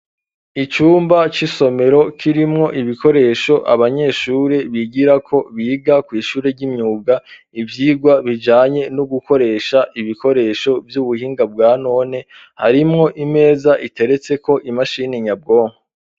Icumba c'isomero kirimwo ibikoresho abanyeshure bigirako biga kw'ishure ry'imyuga ivyirwa bijanye no gukoresha ibikoresho vy'ubuhinga bwa none harimwo imeza iteretseko imashini nyabwonko.